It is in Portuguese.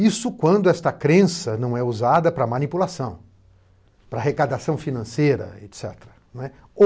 Isso quando esta crença não é usada para manipulação, para arrecadação financeira, et cetera, né.